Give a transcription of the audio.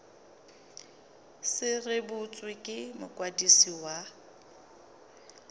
se rebotswe ke mokwadisi wa